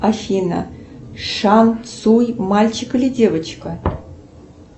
афина шансуй мальчик или девочка